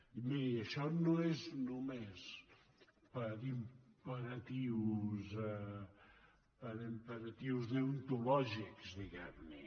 i miri això no és només per imperatius deontològics diguem ne